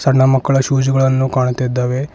ಸಣ್ಣ ಮಕ್ಕಳ ಶೂಸ್ ಗಳನ್ನು ಕಾಣುತ್ತಿದಾವೆ.